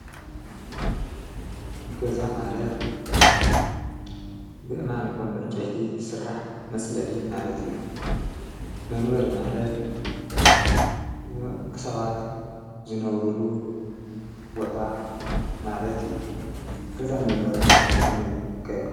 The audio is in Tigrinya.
ገዛ ማለት ብኣእማን ይኩን ብዕንጨይቲ ይስራሕ መፅለሊ ማለት እዩ። መንበሪ ማለትን ደቂ ሰባት ዝነብርሉ ቦታ ማለት እዩ። ገዛን መንበሪን ከመይ ይካየዱ?